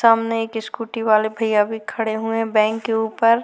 सामने एक स्कूटी वाले भैया भी खड़े हुए है बैंक के ऊपर --